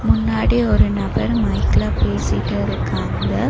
முன்னாடி ஒரு நபர் மைக்ல பேசிட்டு இருக்காங்க.